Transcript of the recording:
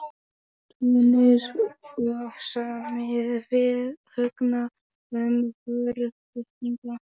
Túnis og samið við Högna um vöruflutninga.